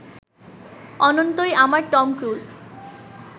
অনন্তই আমার Tom cruise